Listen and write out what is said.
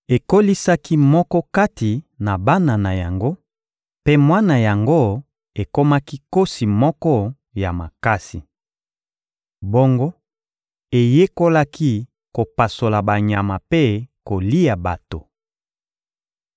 Ekolisaki moko kati na bana na yango, mpe mwana yango ekomaki nkosi moko ya makasi. Bongo, eyekolaki kopasola banyama mpe kolia bato.